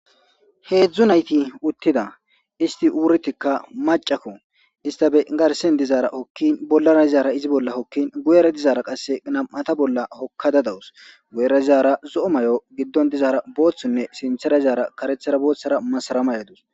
heedzdzu nayti uttida isti wurtikka macakko ista be garsen dizaara hokkin bollara dizaara izi bolla hokkin guyera dizaara qasse nam7ata bolla hokkada dawus guyera zizaara zo7o may7o giddon dizaara booththonne sinthera izaara karethara booththara masaramayadus